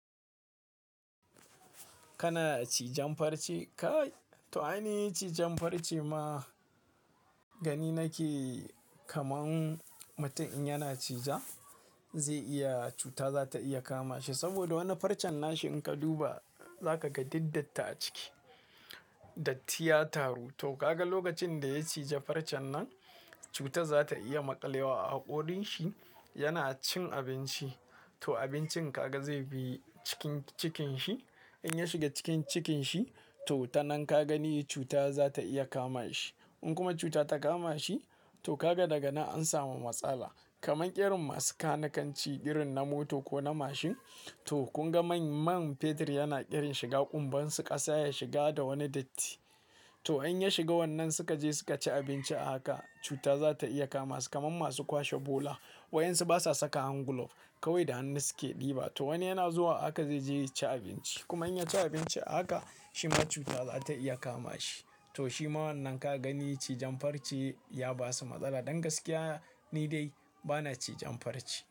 Kana cijan farce kai? To ai ni cijan farce ma gani nake kaman mutum in yana cija zai iya cuta za ta iya kama shi. Saboda wani farcen nashi in ka duba za ka ga duk datti a ciki, datti ya taru. To kaga lokacin da ya cije farcen nan cuta za ta iya maƙalewa a haƙorin shi. Yana cin abinci to abincin kaga zai bi cikin cikin shi. In ya shiga cikin cikin shi to ta nan ka gani cuta za ta iya kama shi. In kuma cuta ta kama shi to kaga daga nan an samu matsala. Kaman ƙerin masu kanikanci, ƙirin na mota ko na mashin to kun ga man fetur yana ƙirin shiga ƙumbansu ƙasa ya shiga da wani datti. To in ya shiga wannan suka je suka ci abinci a haka cuta za ta iya kama su. Kaman masu kwashe bola wayan su basa saka hand glove kawai da hannu suke ɗiba to wani yana zuwa haka zai je ya ci abinci. Kuma in ya ci abinci a haka shi ma cuta za ta iya kama shi. To shi ma wannan ka gani cijan farce ya ba su matsala. Don gaskiya ni dai bana cijan farce.